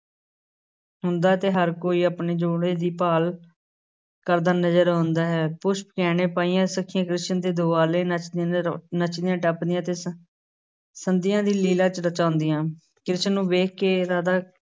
ਹੁੰਦਾ ਹੈ ਤੇ ਹਰ ਕੋਈ ਆਪਣੇ ਜੋੜੇ ਦੀ ਭਾਲ ਕਰਦਾ ਨਜ਼ਰ ਆਉਂਦਾ ਹੈ, ਪੁਸ਼ਪ ਗਹਿਣੇ ਪਾਈਆਂ ਸੁਖੀਆਂ ਕ੍ਰਿਸ਼ਨ ਦੇ ਦੁਆਲੇ ਨੱਚਦੀਆਂ ਨੱਚਦੀਆਂ ਟੱਪਦੀਆਂ ਅਤੇ ਸੰ~ ਸੰਧਿਆ ਦੀ ਲੀਲਾ 'ਚ ਰਚਾਉਂਦੀਆਂ, ਜਿਸਨੂੰ ਵੇਖ ਕੇ ਰਾਧਾ